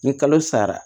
Ni kalo sara